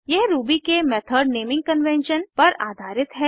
यह रूबी के method naming convention पर आधारित है